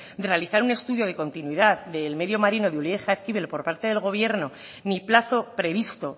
de realizar un estudio de continuidad del medio marino de ulia y jaizkibel por parte de gobierno ni plazo previsto